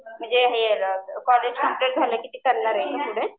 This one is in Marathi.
म्हणजे कॉलेज कम्प्लिट झालं की करणार आहे पुढे.